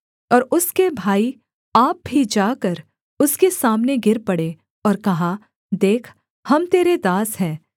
और उसके भाई आप भी जाकर उसके सामने गिर पड़े और कहा देख हम तेरे दास हैं